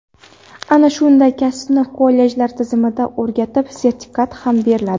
Ana shunday kasbni kollejlar tizimida o‘rgatib, sertifikat ham beriladi.